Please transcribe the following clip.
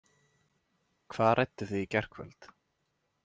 Hvað rædduð þið í gærkvöld?